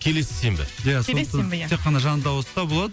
келесі сенбі ия сондықтан келесі сенбі ия тек қана жанды дауыста болады